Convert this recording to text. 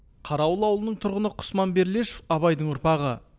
қарауыл ауылының тұрғыны құсман берлешов абайдың ұрпағы